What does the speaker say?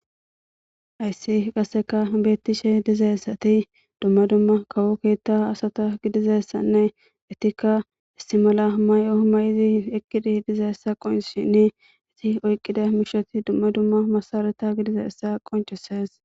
ayssi qasseka beettishe dizaessati dumma dumma kawo keetta asata gidizassanne itikka istimala may7o may7izi eqkidi dizaessa qonshini iti oyqqida mishoti dumma dumma masarata gidizaessa qoncisees